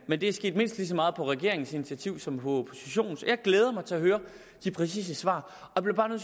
men det er sket mindst lige så meget på regeringens initiativ som på oppositionens jeg glæder mig til at høre de præcise svar